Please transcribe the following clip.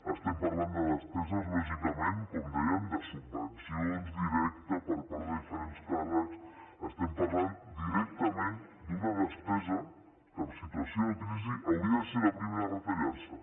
estem parlant de despeses lògicament com dèiem de subvencions directes per part de diferents càrrecs estem parlant directament d’una despesa que en situació de crisi hauria de ser la primera a retallar se